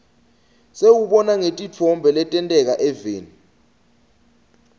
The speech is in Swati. siwubona ngetintfo letenteka eveni